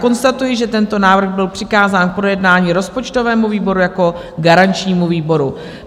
Konstatuji, že tento návrh byl přikázán k projednání rozpočtovému výboru jako garančnímu výboru.